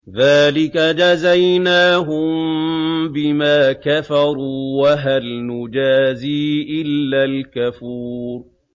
ذَٰلِكَ جَزَيْنَاهُم بِمَا كَفَرُوا ۖ وَهَلْ نُجَازِي إِلَّا الْكَفُورَ